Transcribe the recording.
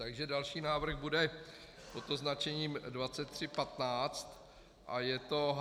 Takže další návrh bude pod označením 23.15 a je to H1.1.